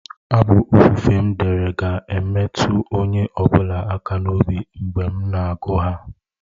Abụ ofufe m dere ga-emetụ onye ọ bụla aka n'obi mgbe m na-agụ ha.